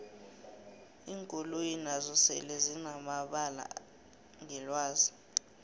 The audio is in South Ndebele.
iinkoloyi nazo sele zinanabala ngelwazi